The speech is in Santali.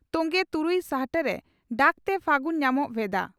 ᱛᱝᱜᱮ ᱛᱩᱨᱩᱭ ᱥᱟᱦᱴᱟᱨᱮᱹᱹᱹᱹᱹᱹ ᱰᱟᱠᱛᱮ ᱯᱷᱟᱹᱜᱩᱱ ᱧᱟᱢᱚᱜ ᱨᱮᱱᱟᱜ ᱵᱷᱮᱫᱟ